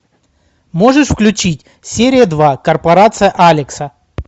можешь включить серия два корпорация алекса